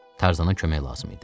Tarzana kömək lazım idi.